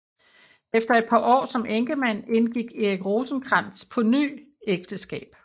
Efter et par år som enkemand indgik Erik Rosenkrantz på ny ægteskab